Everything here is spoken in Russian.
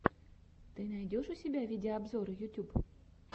ты найдешь у себя видеообзоры ютьюб